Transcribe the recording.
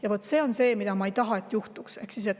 Ja vaat see on see, mida ma ei taha, et juhtuks.